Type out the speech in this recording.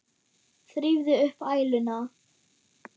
Þrífðu upp æluna.